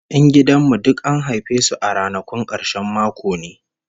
Yan gidan mu duk an haife su a ranakun karshen mako ne!